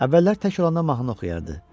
Əvvəllər tək olanda mahnı oxuyardı.